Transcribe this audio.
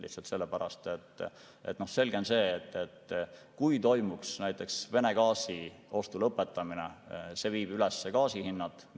Lihtsalt sellepärast, et on selge, et kui Vene gaasi ostmine lõpetatakse, siis see viib gaasi hinnad üles.